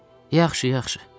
Yaxşı, yaxşı.